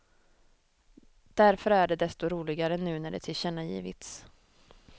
Därför är det desto roligare nu när det tillkännagivits.